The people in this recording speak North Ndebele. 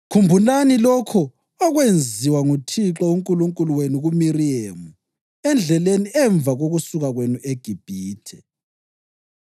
Khumbulani lokho okwenziwa nguThixo uNkulunkulu wenu kuMiriyemu endleleni emva kokusuka kwenu eGibhithe.